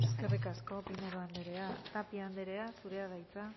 consejera eskerrik asko pinedo anderea tapia anderea zurea da hitza